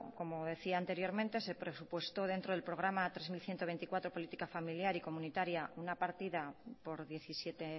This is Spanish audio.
como decía anteriormente se presupuestó dentro del programa hiru mila ehun eta hogeita laupolítica familiar y comunitaria una partida por diecisiete